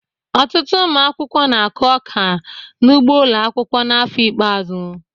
Ọtụtụ ụmụ akwụkwọ na-akụ ọka n'ugbo ụlọ akwụkwọ n'afọ ikpeazụ